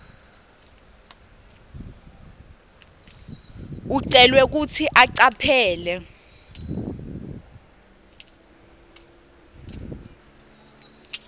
ucelwa kutsi ucaphele